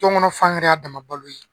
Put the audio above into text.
Jɔnkɔnɔ fan yɛrɛ y'a dama balo ye.